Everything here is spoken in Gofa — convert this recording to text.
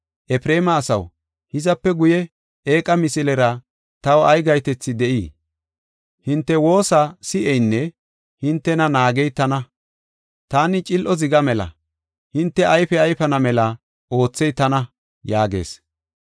Efreema asaw, hizape guye eeqa misilera taw ay gahetethi de7ii? Hinte woosa si7eynne hintena naagey tana. Taani cil7o zigaa mela; hinte ayfe ayfana mela oothey tana” yaagees.